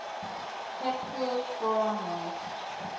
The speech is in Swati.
hatfield forum west